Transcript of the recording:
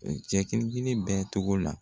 Cɛ kelen kelen bɛɛ tɔgɔ la.